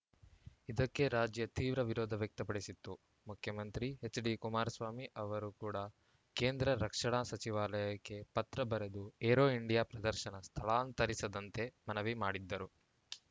ಇದಕ್ಕೆ ರಾಜ್ಯ ತೀವ್ರ ವಿರೋಧ ವ್ಯಕ್ತಪಡಿಸಿತ್ತು ಮುಖ್ಯಮಂತ್ರಿ ಎಚ್‌ಡಿಕುಮಾರಸ್ವಾಮಿ ಅವರು ಕೂಡ ಕೇಂದ್ರ ರಕ್ಷಣಾ ಸಚಿವಾಲಯಕ್ಕೆ ಪತ್ರ ಬರೆದು ಏರೋ ಇಂಡಿಯಾ ಪ್ರದರ್ಶನ ಸ್ಥಳಾಂತರಿಸದಂತೆ ಮನವಿ ಮಾಡಿದ್ದರು